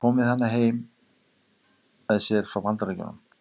Kom með hana heim með sér frá Bandaríkjunum.